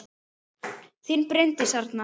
Þín Bryndís Arna.